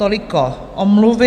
Toliko omluvy.